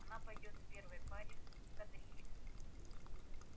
она пойдёт в первой паре в кадрили